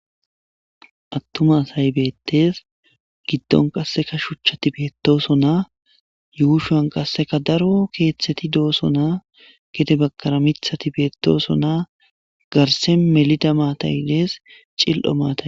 Attuma asay beettes giddon qasseka shuchchati beettooso naa yuushoan qasseka daro keeththeti dooso naa gede bakara mithati beettooso naa garsen melida maataydees cil'o maata